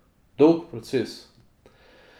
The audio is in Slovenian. Dolg proces.